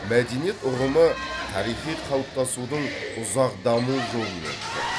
мәдениет ұғымы тарихи қалыптасудың ұзақ даму жолын өтті